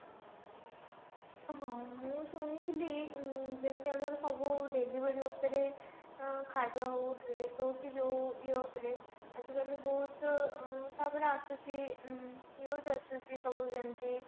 ହଁ ମୁଁ ଶୁଣିଥିଲି ମ ଯେମିତି ଆମର ସବୁ delivery ଉପରେ ଆ ଖାଇବା ହଉ dress ହଉ କି ଯଉ ଇଏ ଉପରେ ଆଜି କାଲି ବହୁତ ମ ତାପରେ ଆସୁଛି ମ news ଆସୁଛି ସବୁ ଯେମିତି